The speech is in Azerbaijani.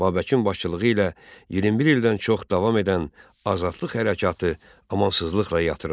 Babəkin başçılığı ilə 21 ildən çox davam edən azadlıq hərəkatı amansızlıqla yatırıldı.